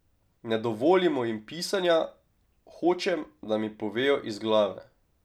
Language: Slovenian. Ne dovolimo jim pisanja, hočem, da mi povejo iz glave.